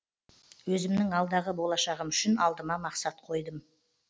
өзімнің алдағы болашағым үшін алдыма мақсат қойдым